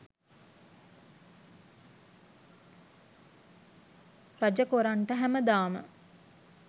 රජ කොරන්ට හැමදාම